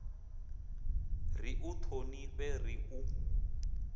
ri u ṱhonifhe ri u